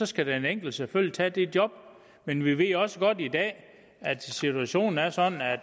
skal den enkelte selvfølgelig tage det job men vi ved også godt i dag at situationen er sådan